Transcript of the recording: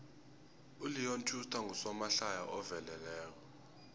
uleon schuster ngusomahlaya oveleleko